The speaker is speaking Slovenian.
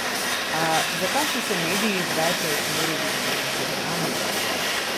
A zakaj so se mediji zdaj preusmerili še na klepetalnice?